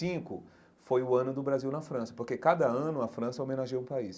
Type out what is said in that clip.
foi o ano do Brasil na França, porque cada ano a França homenageia um país.